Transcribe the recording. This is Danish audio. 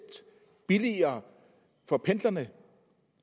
billigere for pendlerne